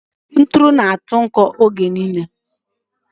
Ntụ na-adị nkọ oge niile